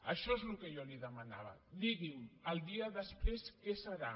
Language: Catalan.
això és el que jo li demanava digui’m el dia després què serà